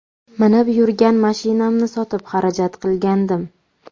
Minib yurgan mashinamni sotib xarajat qilgandim.